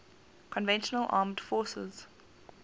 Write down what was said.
conventional armed forces